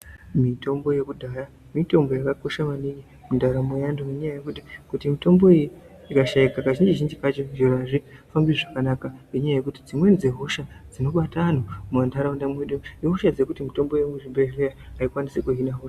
Mitombo yekudhaya mitombo yakakosha maningi mundaramo yeantu ngenyaya yekuti kuti mitombo iyi ikashikwa kazhinji zhinji kacho zviro azvifambi zvakanaka ngenyaya yekuti dzimweni dzehosha dzinobata antu mumanharaunda ihosha dzekuti mitombo yemuzvibhedhlera aikwanisi kuhina hosha idzodzo.